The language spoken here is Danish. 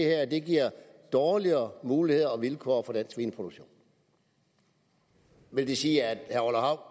her giver dårligere muligheder og vilkår for dansk svineproduktion vil det sige at